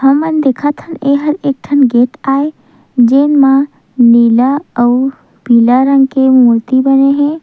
हमन देखत हन एहा एक ठन गेट आए जेन म नीला अऊ पीला रंग के मूर्ति बने हे।